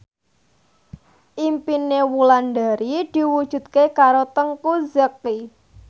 impine Wulandari diwujudke karo Teuku Zacky